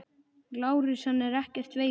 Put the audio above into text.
LÁRUS: Hann er ekkert veikur.